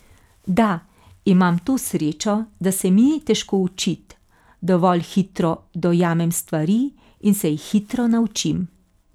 Da, imam to srečo, da se mi ni težko učit, dovolj hitro dojamem stvari in se jih hitro naučim.